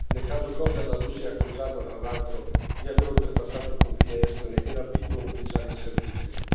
Nel caso Kohverla Russia è accusata, tra l'altro, di aver oltrepassato il confine estone e rapito un ufficiale in servizio.